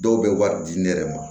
Dɔw bɛ wari di ne yɛrɛ ma